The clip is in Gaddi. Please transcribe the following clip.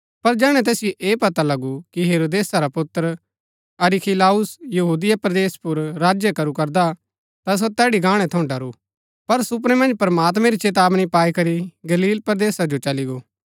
पर जैहणै तैसिओ ऐह पत्ता लगु कि हेरोदेसा रा पुत्र अरखिलाउस यहूदिया परदेस पुर राज्य करू करदा ता सो तैड़ी गाणै थऊँ डरू पर सुपनै मन्ज प्रमात्मैं री चेतावनी पाई करी गलील परदेसा जो चली गो